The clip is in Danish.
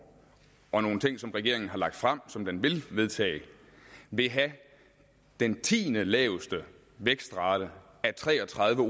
og nogle ting som regeringen har lagt frem som den vil vedtage vil have den tiendelaveste vækstrate af tre og tredive